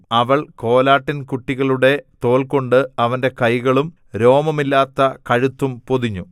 അവൾ കോലാട്ടിൻ കുട്ടികളുടെ തോൽകൊണ്ട് അവന്റെ കൈകളും രോമമില്ലാത്ത കഴുത്തും പൊതിഞ്ഞു